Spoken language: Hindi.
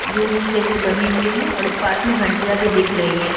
रूम जैसे बने हुए हैं और पास में घंटियाँ भी दिख रही हैं।